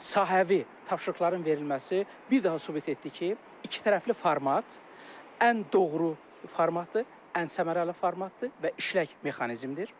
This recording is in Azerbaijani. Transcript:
Sahəvi tapşırıqların verilməsi bir daha sübut etdi ki, ikitərəfli format ən doğru formatdır, ən səmərəli formatdır və işlək mexanizmdir.